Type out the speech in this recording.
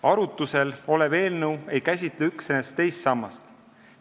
Arutlusel olev eelnõu ei käsitle üksnes teist sammast.